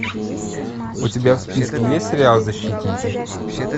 у тебя в списке есть сериал защитники